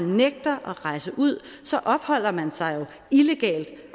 nægter at rejse ud så opholder man sig illegalt